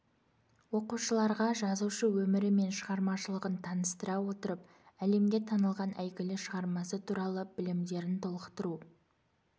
оқушыларға жазушы өмірі мен шығармашылығын таныстыра отырып әлемге танылған әйгілі шығармасы туралы білімдерін толықтыру